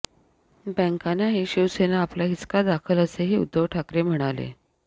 बँकांनाही शिवसेना आपला हिसका दाखल असेही उद्धव ठाकरे म्हणाले